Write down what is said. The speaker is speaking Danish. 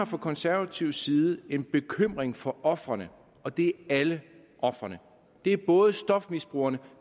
fra konservativ side en bekymring for ofrene og det er alle ofrene det er både stofmisbrugerne